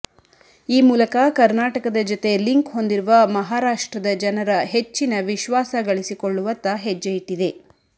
ಈ ಮೂಲಲಕ ಕರ್ನಾಟಕದ ಜತೆ ಲಿಂಕ್ ಹೊಂದಿರುವ ಮಹಾರಾಷ್ಟ್ರದ ಜನರ ಹೆಚ್ಚಿನ ವಿಶ್ವಾಸ ಗಳಿಸಿಕೊಳ್ಳುವತ್ತ ಹೆಜ್ಜೆ ಇಟ್ಟಿದೆ